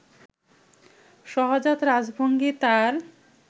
সহজাত রাজভঙ্গি তার